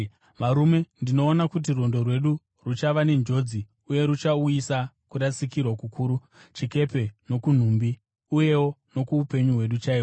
“Varume, ndinoona kuti rwendo rwedu ruchava nenjodzi uye ruchauyisa kurasikirwa kukuru kuchikepe nokunhumbi, uyewo nokuupenyu hwedu chaihwo.”